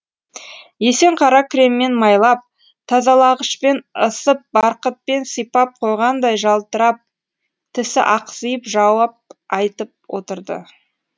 есен қара креммен майлап тазалағышпен ысып барқытпен сипап қойғандай жалтырап тісі ақсиып жауап айтып отырды